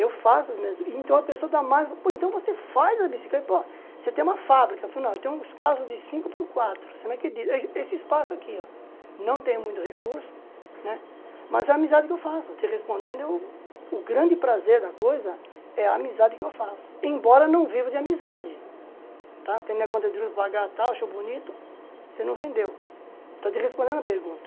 Eu faço as minhas, então a pessoa dá mais, pô, então você faz a bicicleta, pô, você tem uma fábrica, eu falo, não, eu tenho um espaço de cinco por quatro, você não acredita, esse espaço aqui, ó, não tem muito recurso, né, mas é a amizade que eu faço, eu estou te respondendo, o grande prazer da coisa é a amizade que eu faço, embora eu não vivo de amizade, tá, tem minha conta de juros para pagar e tal, eu acho bonito, você não vendeu, estou te respondendo a pergunta.